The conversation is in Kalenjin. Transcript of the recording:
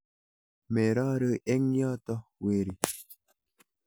Merori eng yoto weri.